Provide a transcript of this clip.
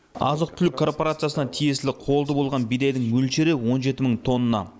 азық түлік корпорациясына тиесілі қолды болған бидайдың мөлшері он жеті мың тонна